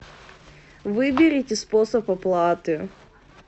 выберите способ оплаты